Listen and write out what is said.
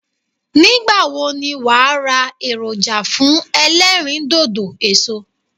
Nígbàwo ni wàá ra èròjà fún elérìndòdò èso